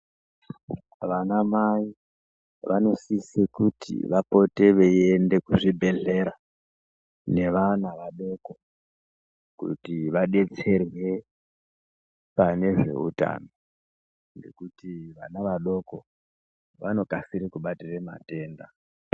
Vanamai vanosise kuti vapote veiende kuzvibhedhlera nevana vadoko kuti vadetserwe pane zveutano ngekuti vana vadoko vanokasire kubatire matenda.